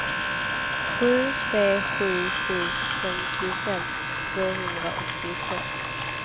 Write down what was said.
sju tre sju sju femtiofem tvåhundraåttiotvå